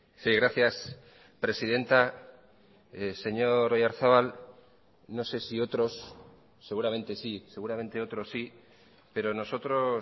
sí gracias presidenta señor oyarzabal no sé si otros seguramente sí seguramente otro sí pero nosotros